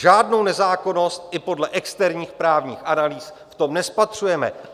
Žádnou nezákonnost i podle externích právních analýz v tom nespatřujeme.